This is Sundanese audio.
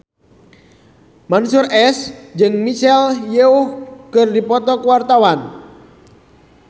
Mansyur S jeung Michelle Yeoh keur dipoto ku wartawan